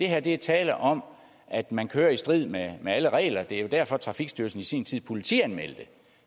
her er der tale om at man kører i strid med alle regler det er jo derfor at trafikstyrelsen i sin tid politianmeldte